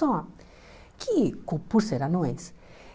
Só que, co por serem anões,